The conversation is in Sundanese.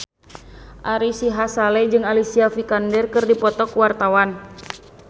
Ari Sihasale jeung Alicia Vikander keur dipoto ku wartawan